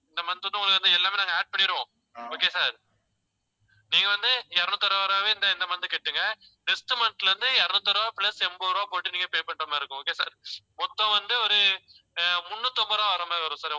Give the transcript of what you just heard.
இந்த month வந்து உங்களுக்கு வந்து எல்லாமே நாங்க add பண்ணிடுவோம். okay sir நீங்க வந்து இருநூத்தி அறுபது ரூபாவே இந்த இந்த month கட்டிடுங்க. next month ல இருந்து இருநூத்தி அறுபது ரூபாய் plus எண்பது ரூபாய் போட்டு நீங்க pay பண்ற மாதிரி இருக்கும். okay sir மொத்தம் வந்து ஒரு அஹ் முன்னூத்தி ஐம்பது ரூபாய் வர்ற மாதிரி வரும் sir